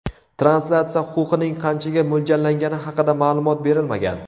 Translyatsiya huquqining qanchaga mo‘ljallangani haqida ma’lumot berilmagan.